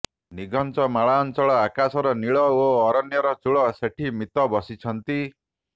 ନିଘଞ୍ଚ ମାଳାଞ୍ଚଳ ଆକାଶର ନୀଳ ଓ ଅରଣ୍ୟର ଚୂଳ ସେଠି ମିତ ବସିଛନ୍ତି